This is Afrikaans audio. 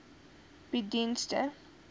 bied dienste ten